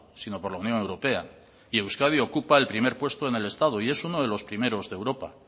sino por la unión europea y euskadi ocupa el primer puesto en el estado y es uno de los primeros de europa